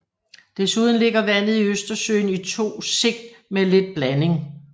Desuden ligger vandet i Østersøen i to sigt med lidt blanding